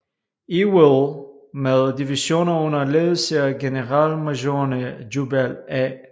Ewell med divisioner under ledelse af generalmajorerne Jubal A